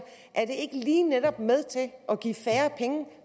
ikke lige netop med til at give færre penge